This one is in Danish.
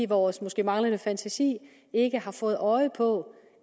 vores måske manglende fantasi ikke har fået øje på